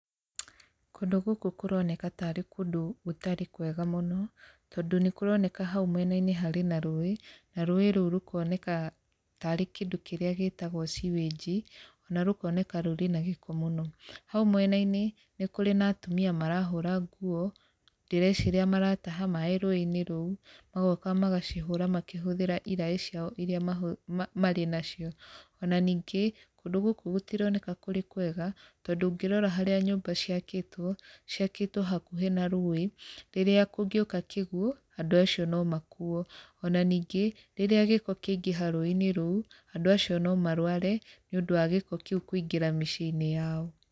Kũndũ gũkũ kũroneka tarĩ kũndũ gũtarĩ kwega mũno tondũ nĩ kũroneka hau mwenainĩ harĩ na rũĩ na rũĩ rũu rũkoneka tarĩ kĩndũ kĩrĩa gĩtagwo sewage ona rũkoneka rũrĩ na gĩko mũno. Hau mwenainĩ nĩ kũrĩ na atumia marahũra nguo, ndĩreciria maratara maĩ rũĩinĩ rũu magoka magacihũra makĩhũthĩra iraĩ ciao irĩa marĩ nacio. Ona ningĩ kũndũ gũkũ gũtironeka kũrĩ kwega tondu ũngĩrora harĩa nyũmba ciakĩtwo, ciakĩtwo hakuhĩ na rũi, rĩrĩa kũngĩũka kĩguo andũ acio no makuo. Ona ningĩ rĩrĩa gĩko kĩangĩha rũĩinĩ rũu andũ acio no marũare nĩũndũ wa gĩko kĩu kũingĩra mĩciĩinĩ yao.